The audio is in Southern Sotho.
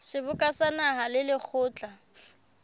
seboka sa naha le lekgotla